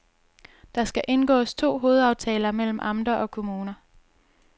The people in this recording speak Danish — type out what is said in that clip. Der skal indgås to hovedaftaler mellem amter og kommuner.